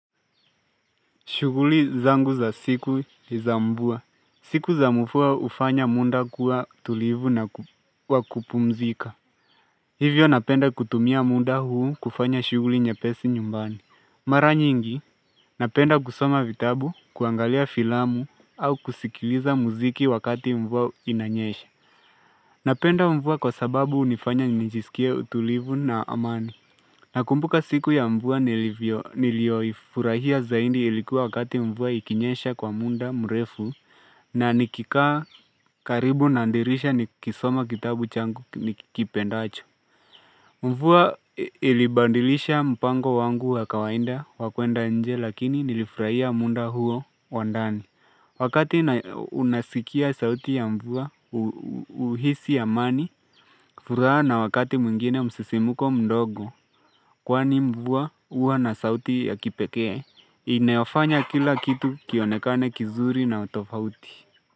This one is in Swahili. Shughuli zangu za siku za mvua. Siku za mvua hufanya muda kuwa tulivu na wakupumzika. Hivyo napenda kutumia muda huu kufanya shughuli nyepesi nyumbani. Mara nyingi, napenda kusoma vitabu, kuangalia filamu au kusikiliza muziki wakati mvua inanyesha. Napenda mvua kwa sababu hunifanya nijisikie tulivu na amani. Na kumbuka siku ya mvua nilioifurahia zaidi ilikuwa wakati mvua ikinyesha kwa muda mrefu na nikikaa karibu dirisha nikisoma kitabu changu nikipendacho. Mvua ilibadilisha mpango wangu wa kawaida wa kwenda nje lakini nilifurahia muda huo wandani. Wakati unasikia sauti ya mvua uhisi amani, furaha na wakati mwingine msisimuko mdogo, kwani mvua huwa na sauti ya kipekee, inayofanya kila kitu kionekane kizuri na utofauti.